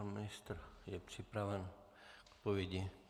Pan ministr je připraven k odpovědi.